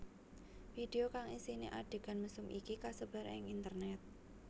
Video kang isiné adhegan mesum iki kasebar ing internét